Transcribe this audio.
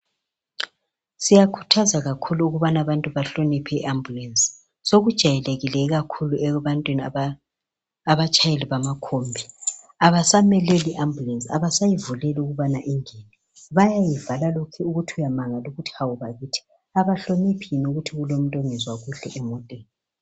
Siyakhuthaza kakhulu ukubana abantu bahloniphe i ambulesi, sokujayelekile kakhulu ebantwini abatshayeli bamakhombi abasameleli ambulesi abasayivuleli ukubana ingene bayayivalela lokhu ukuthi uyamangala uthi hawu bakithi abahloniphi yini ukuthi kulomuntu ongezwa kuhle emoteni.